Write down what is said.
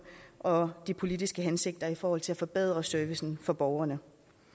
og de politiske hensigter i forhold til at forbedre servicen for borgerne